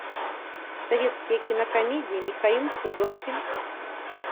советские кинокомедии михаил пуговкин